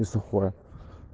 и сухое